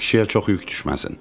Bu kişiyə çox yük düşməsin.